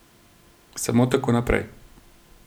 Samo tako naprej.